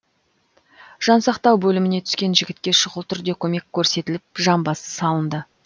жансақтау бөліміне түскен жігітке шұғыл түрде көмек көрсетіліп жамбасы салынды